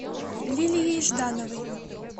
лилией ждановой